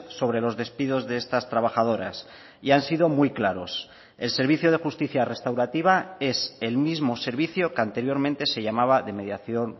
sobre los despidos de estas trabajadoras y han sido muy claros el servicio de justicia restaurativa es el mismo servicio que anteriormente se llamaba de mediación